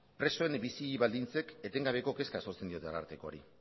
presoen bizi baldintzek etengabeko kezka sortzen diote arartekoari